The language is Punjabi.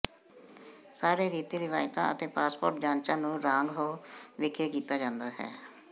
ਸਾਰੇ ਰੀਤੀ ਰਿਵਾਇਤਾਂ ਅਤੇ ਪਾਸਪੋਰਟ ਜਾਂਚਾਂ ਨੂੰ ਰਾਂਗ ਹੋ ਵਿਖੇ ਕੀਤਾ ਜਾਂਦਾ ਹੈ